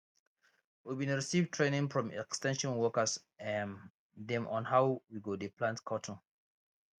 we bin receive training from ex ten sion workers um dem on how we go dey plant cotton